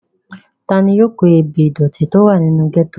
ta ni yóò kó ebè ìdòtí tí ó wà nínú gẹ́tò?